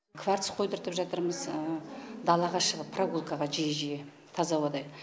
кварц қойдыртып жатырмыз далаға шығып прогулкаға жиі жиі таза ауада